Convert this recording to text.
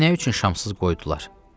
Məni nə üçün şamsız qoydular?